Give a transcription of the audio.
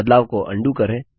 बदलाव को अंडू करें